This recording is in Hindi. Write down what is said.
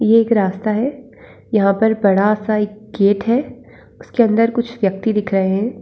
ये एक रास्ता है। यहाँ पर बड़ा सा एक गेट है उसके अन्दर कुछ व्यक्ति दिख रहे हैं।